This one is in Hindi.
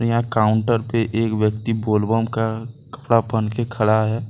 यहां काउंटर पे एक व्यक्ति बोल बम का कपड़ा पहन के खड़ा है।